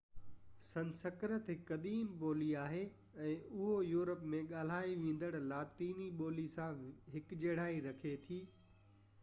سنسڪرت هڪ قديم ٻولي آهي ۽ اهو يورپ ۾ ڳالهائي ويندڙ لاطيني ٻولي سان هڪجهڙائي رکي ٿي